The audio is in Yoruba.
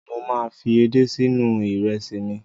Mo máa fi edé si inú ìrẹsì mi.